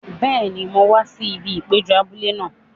Bẹ́ẹ̀ni, mo máa wá sí ibi ìpéjọ abúlé náà.